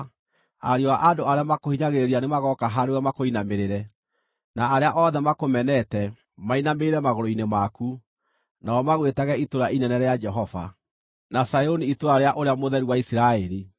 Ariũ a andũ arĩa makũhinyagĩrĩria nĩmagooka harĩwe makũinamĩrĩre; na arĩa othe makũmenete, mainamĩrĩre magũrũ-inĩ maku, nao magwĩtage Itũũra-Inene-rĩa-Jehova, na Zayuni itũũra rĩa Ũrĩa Mũtheru wa Isiraeli.